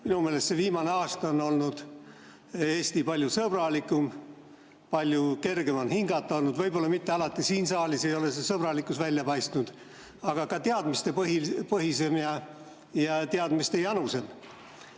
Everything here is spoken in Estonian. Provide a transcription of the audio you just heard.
Minu meelest selle viimase aasta jooksul on olnud Eesti palju sõbralikum, palju kergem on hingata olnud – võib-olla siin saalis pole see sõbralikkus alati välja paistnud –, aga ka teadmistepõhisem ja teadmistejanusem.